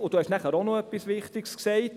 Er hat noch etwas anderes, Wichtiges gesagt: